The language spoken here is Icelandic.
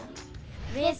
við